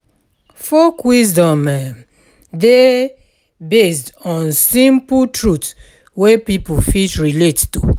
Folk wisdom um dey based on simple truth wey pipo fit relate to